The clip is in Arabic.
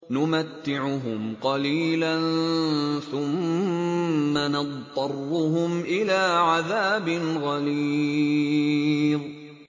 نُمَتِّعُهُمْ قَلِيلًا ثُمَّ نَضْطَرُّهُمْ إِلَىٰ عَذَابٍ غَلِيظٍ